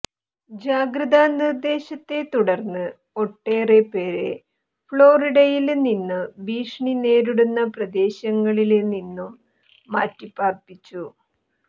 ജാഗ്രതാ നിര്ദേശത്തെ തുടര്ന്ന് ഒട്ടേറെ പേരെ ഫ്ളോറിഡയില് നിന്നും ഭീഷണി നേരിടുന്ന പ്രദേശങ്ങളില് നിന്നും മാറ്റി പാര്പ്പിച്ചു